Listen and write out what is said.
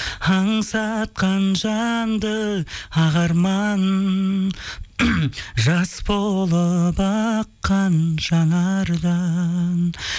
аңсатқан жанды ақ арман жас болып аққан жанардан